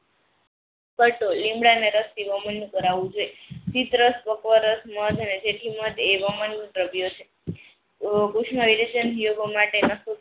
પટોલ લીમડાના રસથી મધ, જેથી મધ એવામાં દ્રવ્ય છે માટે